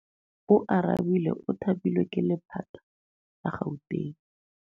Oarabile o thapilwe ke lephata la Gauteng.